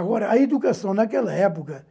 Agora, a educação naquela época,